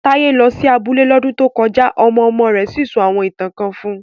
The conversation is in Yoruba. Taye lọ sí abúlé lọ́dún tó kọjá ọmọ-ọmọ rẹ̀ sì sọ àwọn ìtàn kan fún un